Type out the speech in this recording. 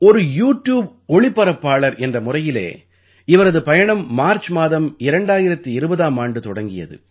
ஒரு யூட்யூப் ஒளிபரப்பாளர் என்ற முறையிலே இவரது பயணம் மார்ச் மாதம் 2020ஆம் ஆண்டு தொடங்கியது